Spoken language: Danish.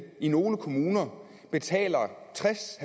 i nogle kommuner betaler tres